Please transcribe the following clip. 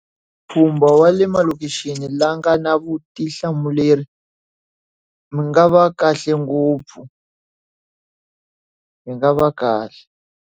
Mpfhumbo wa le malokixini la nga na vutihlamuleri, ma nga va kahle ngopfu hi nga va kahle.